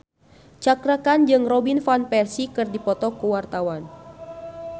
Cakra Khan jeung Robin Van Persie keur dipoto ku wartawan